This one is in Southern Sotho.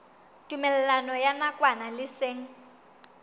tumellano ya nakwana le seng